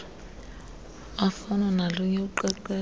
afana nolunye uqeqesho